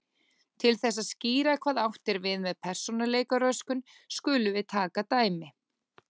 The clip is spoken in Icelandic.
Til þess að skýra hvað átt er við með persónuleikaröskun skulum við taka dæmi.